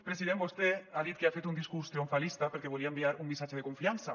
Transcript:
president vostè ha dit que ha fet un discurs triomfalista perquè volia enviar un missatge de confiança